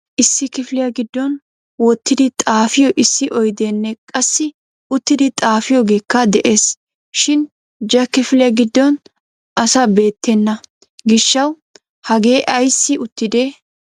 Issi kifiliyaa giddon wottidi xaafiyo issi oyddene qassi uttido xaafiyogeeka de'ees. Shin ja kifiliyaa giddon asa beettena gishshaw hagee ayssi uttide?